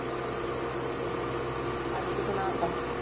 ਫੇ ਅੱਜ ਕੀ ਬਣਾਤਾ।